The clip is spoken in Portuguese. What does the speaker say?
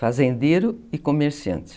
Fazendeiro e comerciante.